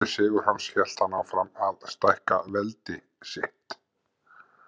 Eftir sigur hans hélt hann áfram að stækka veldi sitt.